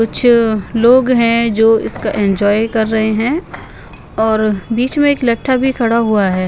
कुछ लोग हैं जो इसका एंजॉय कर रहे हैं और बीच में एक लट्ठा भी खड़ा हुआ है।